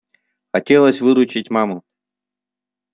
хотелось выручить маму